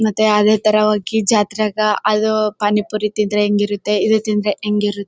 ಮತ್ತೆ ಅದೇತರ ಹೋಗಿ ಜಾತ್ರಗ ಅದು ಪಾನಿಪುರಿ ತಿಂದ್ರೆ ಹೆಂಗೆ ಇರುತ್ತೆ ಇದು ಹೆಂಗೆ ಇರುತ್ತೆ--